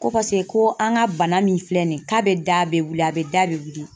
Ko paseke ko an ka bana min filɛ nin ye, k'a bɛ da bɛ wili a bɛ da bɛ wili.